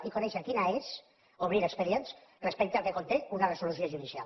i conèixer quina és obrir expedients respecte al que conté una resolució judicial